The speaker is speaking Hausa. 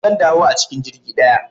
Zan dawo a cikin jirgi ɗaya